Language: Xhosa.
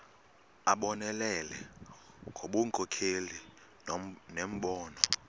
abonelele ngobunkokheli nembono